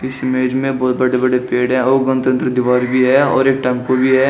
इस इमेज में बहुत बड़े बड़े पेड़ है और उधर दीवार भी है और एक टेंपो भी है।